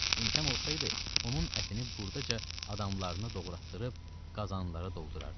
İmkan olsaydı, onun ətini buradaca adamlarını doğratdırıb qazanlara doldurardı.